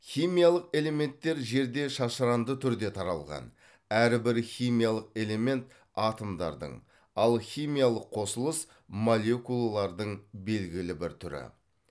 химиялық элементтер жерде шашыранды түрде таралған әрбір химиялық элемент атомдардың ал химиялық қосылыс молекулалардың белгілі бір түрі